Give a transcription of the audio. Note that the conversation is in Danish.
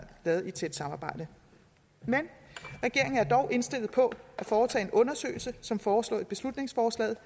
lavet i et tæt samarbejde men regeringen er dog indstillet på at foretage en undersøgelse som foreslået i beslutningsforslaget